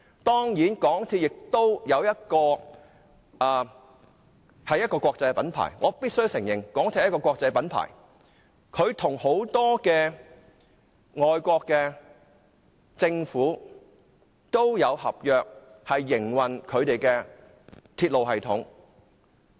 當然，港鐵公司亦是一個國際品牌，我必須承認它是一個國際品牌，與很多外國政府也簽訂合約營運他們的鐵路系統。